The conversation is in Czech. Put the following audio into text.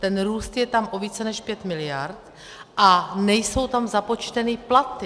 Ten růst je tam o více než 5 miliard a nejsou tam započteny platy.